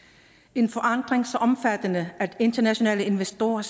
en forandring så omfattende at internationale investorer